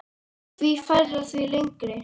Því færra, því lengri.